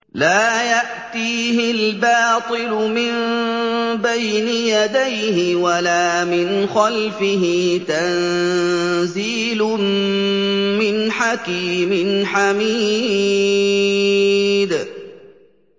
لَّا يَأْتِيهِ الْبَاطِلُ مِن بَيْنِ يَدَيْهِ وَلَا مِنْ خَلْفِهِ ۖ تَنزِيلٌ مِّنْ حَكِيمٍ حَمِيدٍ